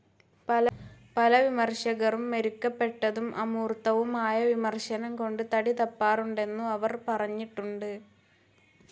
പല വിമർശകരും മെരുക്കപ്പെട്ടതും അമൂർത്തവുമായ വിമർശനം കൊണ്ട് തടിതപ്പാറുണ്ടെന്നു അവർ പറഞ്ഞിട്ടുണ്ട്.